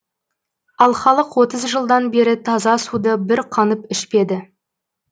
ал халық отыз жылдан бері таза суды бір қанып ішпеді